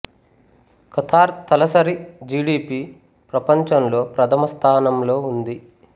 Qatar తలసరి G D P ప్రపంచంలో ప్రథమ స్థానంలో ఉంది